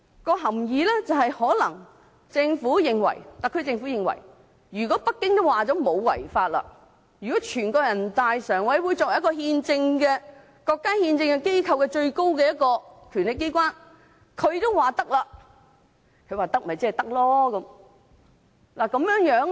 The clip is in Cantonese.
便是特區政府可能認為，如果北京表示《條例草案》不違法，如果人大常委會作為國家憲政機構中最高的權力機關也表示可以，即是可以。